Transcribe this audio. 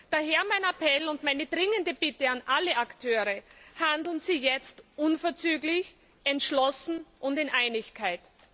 Daher mein Appell und meine dringende Bitte an alle Akteure Handeln Sie jetzt unverzüglich, entschlossen und in Einigkeit!